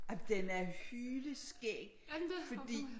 Ej men den er hyleskæg fordi